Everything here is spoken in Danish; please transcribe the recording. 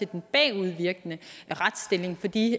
den bagudvirkende retsstilling for de